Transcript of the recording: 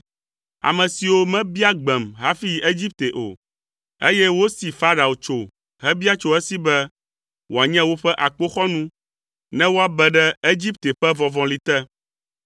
Ame siwo mebia gbem hafi yi Egipte o, eye wosi Farao tso hebia tso esi be wòanye woƒe akpoxɔnu ne woabe ɖe Egipte ƒe vɔvɔ̃li te.